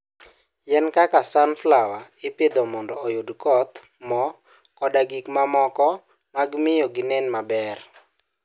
Yien kaka sunflower ipidho mondo oyudgi kodhi, mo, koda gik mamoko mag miyo ginen maber.